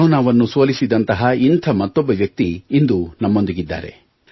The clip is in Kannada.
ಕರೋನಾವನ್ನು ಸೋಲಿಸಿದಂತಹ ಇಂಥ ಮತ್ತೊಬ್ಬ ವ್ಯಕ್ತಿ ಇಂದು ನಮ್ಮೊಂದಿಗಿದ್ದಾರೆ